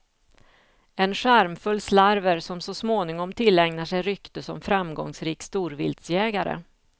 En charmfull slarver som så småningom tillägnar sig rykte som framgångsrik storviltsjägare.